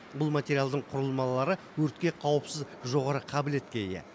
бұл материалдың құрылмалары өртке қауіпсіз жоғары қабілетке ие